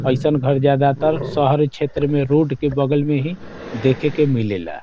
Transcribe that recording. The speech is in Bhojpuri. अइसन घर ज्यादा तर शहर छोत्र में रोड के बगल में ही देखे के मिले ला।